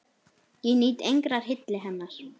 Ég nýt engrar hylli hennar!